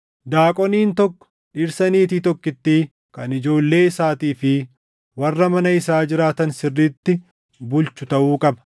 Daaqoniin tokko dhirsa niitii tokkittii, kan ijoollee isaatii fi warra mana isaa jiraatan sirriitti bulchu taʼuu qaba.